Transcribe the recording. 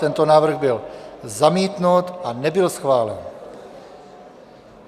Tento návrh byl zamítnut a nebyl schválen.